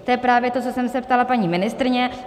To je právě to, co jsem se ptala paní ministryně.